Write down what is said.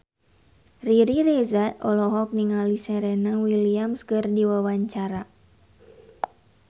Riri Reza olohok ningali Serena Williams keur diwawancara